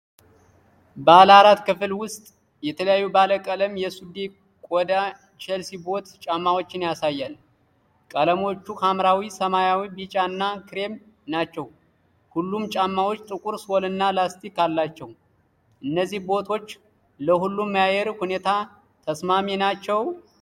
ባለአራት ክፍል ምስል የተለያዩ ባለቀለም የሱዴ ቆዳ ቼልሲ ቦት ጫማዎችን ያሳያል። ቀለሞቹ ሐምራዊ፣ ሰማያዊ፣ ቢጫ እና ክሬም ናቸው። ሁሉም ጫማዎች ጥቁር ሶልና ላስቲክ አላቸው። እነዚህ ቦቶች ለሁሉም የአየር ሁኔታ ተስማሚ ናቸው?